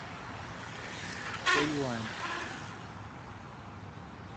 хэюань